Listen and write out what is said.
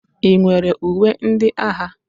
Ị nwere uwe ndị agha?